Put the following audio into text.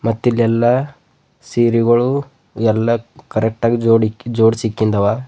ಮತ್ತ್ ಇಲ್ಲಿ ಎಲ್ಲಾ ಸೀರಿಗೋಳು ಎಲ್ಲ ಕರೆಕ್ಟ್ ಆಗಿ ಜೋಡಿಸಿ ಇಕ್ಕಿಂದ ಅವ.